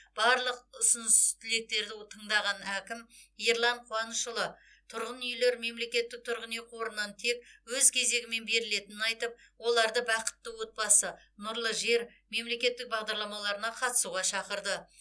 барлығ ұсыныс тілектерді тыңдаған әкім ерлан қуанышұлы тұрғын үйлер мемлекеттік тұрғын үй қорынан тек өз кезегімен берілетінін айтып оларды бақытты отбасы нұрлы жер мемлекеттік бағдарламаларына қатысуға шақырды